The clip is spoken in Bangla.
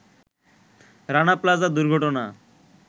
রানা প্লাজা দুর্ঘটনা